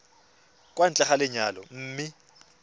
kwa ntle ga lenyalo mme